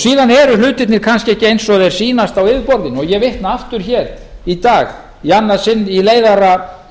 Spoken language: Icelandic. síðan eru hlutirnir kannski ekki eins og þeir sýnast á yfirborðinu og ég vitna aftur hér í dag í annað sinn í leiðara